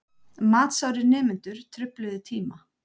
Matsárir nemendur trufluðu tíma